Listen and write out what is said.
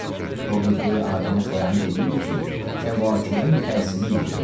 O qibləyi aləmə xəyanət eləyibdir ki, kəvakibin təsirini bildirib.